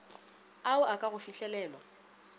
ao a ka go fihlelelwa